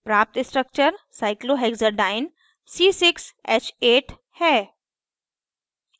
प्राप्त structure cyclohexadiene cyclohexadiene c6h8 है